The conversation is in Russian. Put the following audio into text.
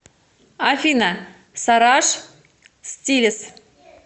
афина сараш стилес